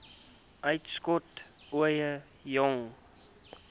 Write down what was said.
uitskot ooie jong